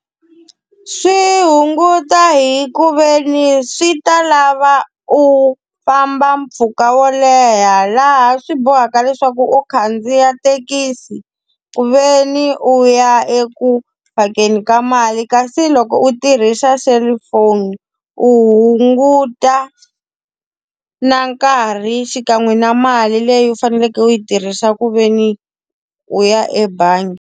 Swi hunguta hi ku ve ni swi ta lava u famba mpfhuka wo leha laha swi bohaka leswaku u khandziya thekisi, ku ve ni u ya eku u phakeni ka mali. Kasi loko u tirhisa cellphone, u hunguta na nkarhi xikan'we na mali leyi u faneleke u yi tirhisa ku ve ni u ya ebangi.